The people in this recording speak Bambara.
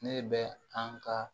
Ne bɛ an ka